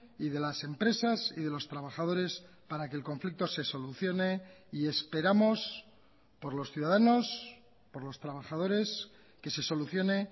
y de las empresas y de los trabajadores para que el conflicto se solucione y esperamos por los ciudadanos por los trabajadores que se solucione